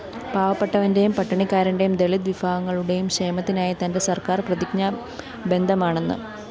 പാവപ്പെട്ടവന്റെയും പട്ടിണിക്കാരന്റെയും ദളിത് വിഭാഗങ്ങളുടെയും ക്ഷേമത്തിനായി തന്റെ സര്‍ക്കാര്‍ പ്രതിജ്ഞാബദ്ധമാണെന്ന്